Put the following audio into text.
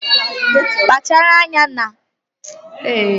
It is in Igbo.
Kpachara anya na ị na-eri ofe ogbono, ọ na-agbatị agbatị ma nwee ike imetọ uwe gị